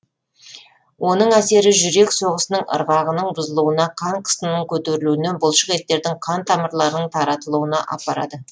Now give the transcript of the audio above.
оның әсері жүрек соғысының ырғағының бұзылуына қан қысымының көтерілуіне бұлшық еттердің қан тамырларының тартылуына апарады